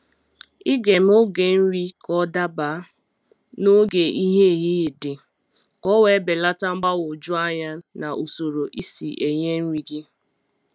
ịga eme oge nri ka ọ daba n'oge ìhè ehihie dị, k'owe belata mgbagwoju anya na usoro isi enye nri gị.